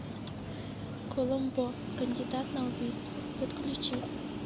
коломбо кандидат на убийство подключи